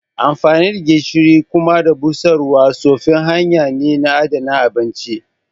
Amfani da gishiri da kuma busarwa tsofin hanya ne na adana abinci